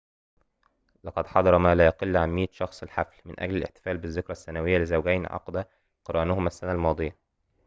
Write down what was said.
لقد حضر ما لا يقل عن 100 شخصٍ الحفل من أجل الاحتفال بالذكرى السنوية الأولى لزوجين عقد قرانهما السنة الماضية